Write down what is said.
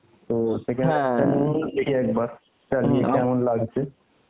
তো second নিয়ে দেখি একবার কেমন লাগছে